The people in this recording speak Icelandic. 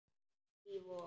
Í Vogi.